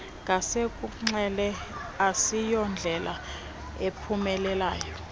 ngasekunxele asiyondlela iphumelayo